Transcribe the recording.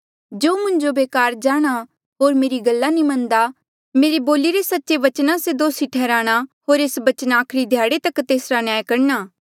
जो मुंजो बेकार जाणहां होर मेरी गल्ला नी मन्नदा मेरे बोलिरे सच्चे बचना से दोसी ठैहराणा होर एस बचना आखरी ध्याड़े तेसरा न्याय करणा